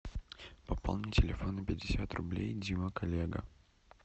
пополни телефон на пятьдесят рублей дима коллега